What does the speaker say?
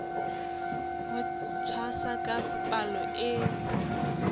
ho tshwasa ka palo e